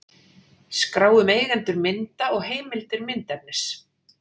Skrá um eigendur mynda og heimildir myndefnis.